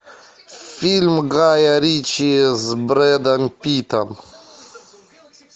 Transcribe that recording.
фильм гая ричи с брэдом питтом